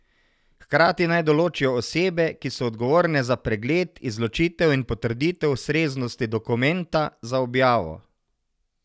Hkrati naj določijo osebe, ki so odgovorne za pregled, izločitev in potrditev ustreznosti dokumenta za objavo.